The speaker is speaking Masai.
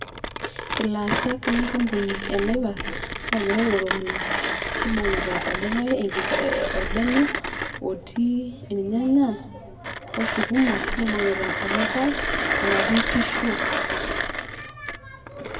ilaasak lenkampuni e naivas ogira airorokino ,nibungita olikae enkika, orbene otii irnyanya osukuma nibungita olikae enatii tissue